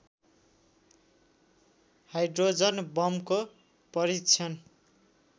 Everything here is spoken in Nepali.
हाइड्रोजन बमको परीक्षण